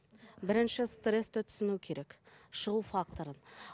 бірінші стрессті түсіну керек шығу факторын